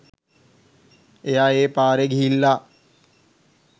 එයා ඒ පාරේ ගිහිල්ලා